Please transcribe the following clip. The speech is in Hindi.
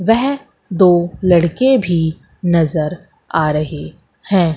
वह दो लड़के भी नजर आ रहे है।